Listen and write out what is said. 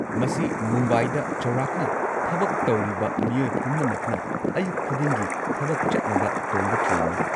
ꯃꯁꯤ ꯃꯨꯝꯕꯥꯏꯗ ꯆꯥꯎꯔꯥꯛꯅ ꯊꯕꯛ ꯇꯧꯔꯤꯕ ꯃꯤꯑꯣꯏ ꯄꯨꯝꯅꯃꯛꯅ ꯑꯌꯨꯛ ꯈꯨꯗꯤꯡꯒꯤ ꯊꯕꯛ ꯆꯠꯅꯕ ꯇꯣꯡꯕ ꯇ꯭ꯔꯦꯟꯅꯤ꯫